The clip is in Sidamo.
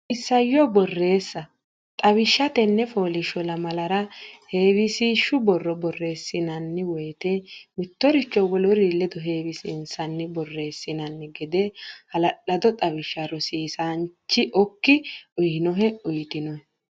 Isayyo Borreessa Xawishsha Tenne fooliishsho lamalara heewisiishshu borro borreessinanni woyte mittoricho woluri ledo heewisiinsanni borreessinanni gede hala lado xawishsha rosiisaanchi okki uynohe uytinohe.